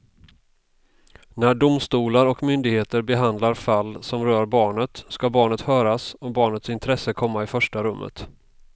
När domstolar och myndigheter behandlar fall som rör barnet ska barnet höras och barnets intresse komma i första rummet.